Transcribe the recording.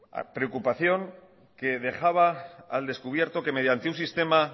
preocupación que dejaba al descubierto que mediante un sistema